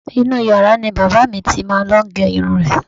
Inú u yàrá ni bàbá à mi ti máa ń lo ìgẹrun rẹ̀.